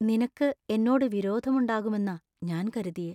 നിനക്ക് എന്നോട് വിരോധം ഉണ്ടാകുമെന്നാ ഞാൻ കരുതിയെ.